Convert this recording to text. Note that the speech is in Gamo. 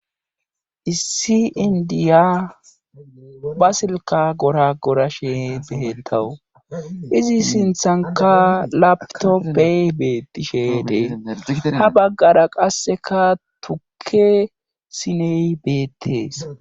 Issi indiya ba silka gora gorashe behetawu izi sinthanka labtoppey beettishe dee ha baggara qasseka tukke siney beettees.